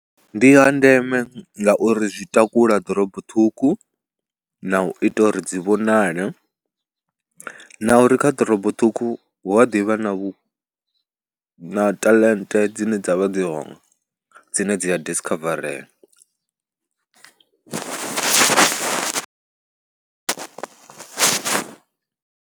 Ndi ha ndeme ngauri zwi takula ḓorobo ṱhukhu na u ita uri dzi vhonale na uri kha ḓorobo ṱhukhu hu a ḓi vha na vhu, na taḽente dzine dza vha dzi hone dzine dzi ya disikhavarea.